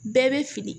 Bɛɛ bɛ fili